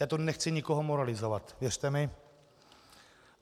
Já tu nechci nikoho moralizovat, věřte mi.